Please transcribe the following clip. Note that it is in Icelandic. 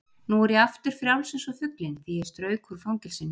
Nú er ég aftur frjáls eins og fuglinn því ég strauk úr fangelsinu.